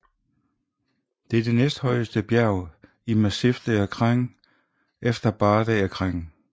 Det er det næsthøjest bjerg i Massif des Écrins efter Barre des Écrins